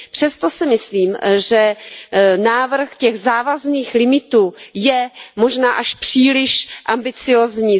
Přesto si myslím, že návrh těch závazných limitů je možná až příliš ambiciózní.